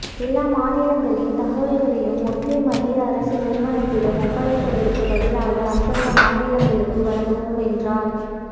எல்லா மாநிலங்களின் தகவல்களையும் ஒற்றை மத்திய அரசு நிறுவனத்திடம் ஒப்படைப்பதற்கு பதிலாக அந்தந்த மாநிலங்களுக்கு வழங்குவோம் என்றார்